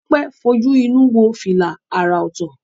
Tope fojú inú wo fila àrà ọ̀tọ̀